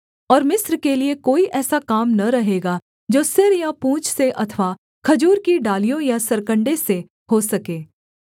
और मिस्र के लिये कोई ऐसा काम न रहेगा जो सिर या पूँछ से अथवा खजूर की डालियों या सरकण्डे से हो सके